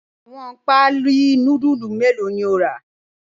Awọn paalí núdùlù mẹlọ̀ ni o ra?